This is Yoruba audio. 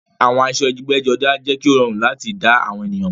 Àwọn aṣọ ẹgbẹ́jọdá jẹ́ kí ó rọrùn láti dá àwọn ènìyàn mọ̀